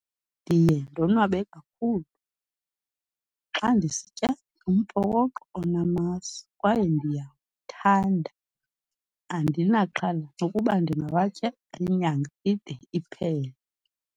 Ndiye ndonwabe kakhulu xa ndisitya umphokoqo onamasi kwaye ndiyawuthanda. Andinaxhala nokuba ndingawatya inyanga ide iphele.